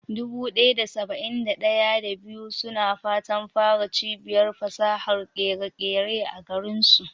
Dubu ɗaya da saba'in da ɗaya, da biyu suna fatan fara cibiyar fasahar ƙere-ƙere a garinsu.